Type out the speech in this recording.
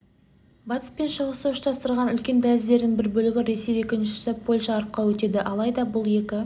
батыс пен шығысты ұштастыратын үлкен дәліздердің бір бөлігі ресей екіншісі польша арқылы өтеді алайда бұл екі